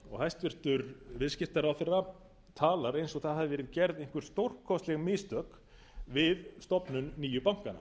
hvolf hæstvirtur viðskiptaráðherra talar eins og það hafi verið gerð einhver stórkostleg mistök við stofnun nýju bankanna